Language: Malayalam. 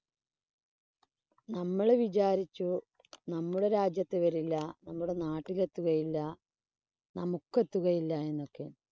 നമ്മള് വിചാരിച്ചു. നമ്മുടെ രാജ്യത്ത് വരില്ല. നമ്മുടെ നാട്ടില് എത്തുകയില്ല. നമുക്ക് എത്തുകയില്ല എന്നൊക്കെ.